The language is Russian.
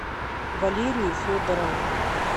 валерию федорову